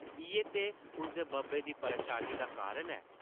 इʼयै ते उसदे बब्बै दी परेशानी दा कारण ऐ ।